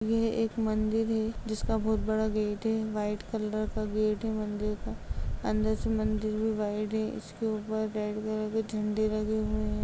यह एक मन्दिर है जिसका बहोत बड़ा गेट है व्हाइट कलर का गेट है मन्दिर का अंदर से मन्दिर भी व्हाइट है। इसके ऊपर रेड कलर के झंडे लगे हुऐ हैं।